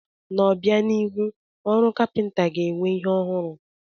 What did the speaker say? N'obianihu, ọrụ kapịnta ga-enwe ihe ọhụrụ.